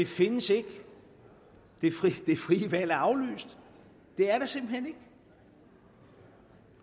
findes ikke det frie valg er aflyst det er der simpelt hen ikke